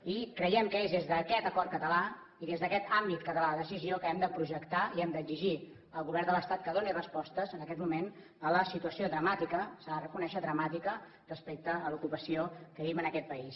i creiem que és des d’aquest acord català i des d’aquest àmbit català de decisió que hem de projectar i hem d’exigir al govern de l’estat que doni respostes en aquest moment a la situació dramàtica s’ha de reconèixer dramàtica respecte a l’ocupació que vivim en aquest país